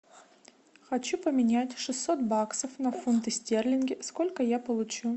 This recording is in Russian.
хочу поменять шестьсот баксов на фунты стерлингов сколько я получу